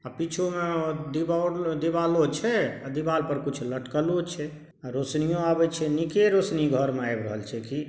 आ पीछूं में दीवाल दीवालो छे। और दीवाल पर कुछ लटकलो छे। आ रोशनीयो अवे छे। निके रोशनी घर में आव रहल छै की।